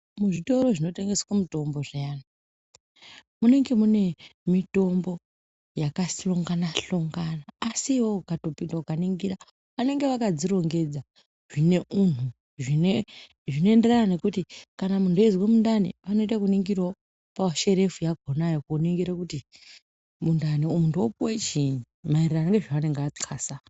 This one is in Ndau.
Muzvitoro zvinotengeswe mutombo zviyani munenge mune mutombo yakahlonga a hlongana asi iwewe ukatipinda ukaningira anenga akadzirongedza zvine unhu zvine zvinoenderana nekuti kana muntu eizwe mundani anoende koningirawo pasherefu yakhonayo kuningire kuti mundani muntu opuwe chiini maererano nezvaanenge athasa.